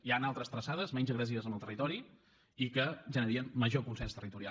hi han altres traçades menys agressives amb el territori i que generarien major consens territorial